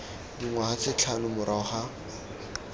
dingwaga tse tlhano morago ga